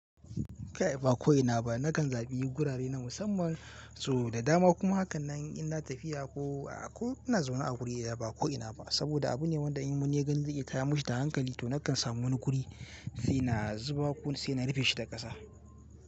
Ba ko ina ba nakan zaɓi gurare na musamman so da dama kuma hakan nan inna na tafiya ko ina zauna a wuri ɗaya ba ko ina ba. Saboda abu ne wanda in wani ya gani zai iya tayar mishi da hankali to nakan samu wani guri saina zuba ko saina rufeshi da ƙasa.